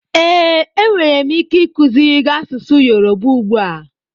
Ee, enwere m ike ikuziri gị asụsụ Yoruba ugbu a.